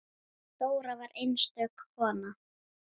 Dóra var einstök kona.